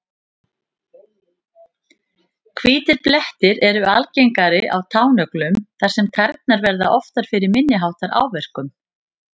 Hvítir blettir eru algengari á tánöglum þar sem tærnar verða oftar fyrir minni háttar áverkum.